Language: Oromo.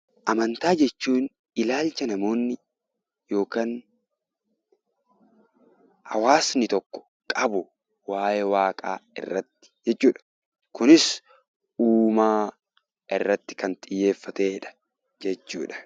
Amantaa jechuun ilaalcha namoonni yookaan hawaasni tokko qabu waayee waaqaa irratti jechuudha. Kunis uumaa irratti kan xiyyeeffatedha jechuudha.